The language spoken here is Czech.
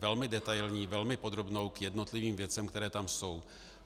Velmi detailní, velmi podrobnou k jednotlivým věcem, které tam jsou.